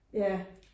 Ja